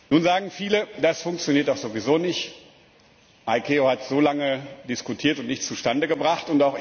Nun sagen viele, das funktioniert doch sowieso nicht die ICAO hat so lange diskutiert und nichts zustande gebracht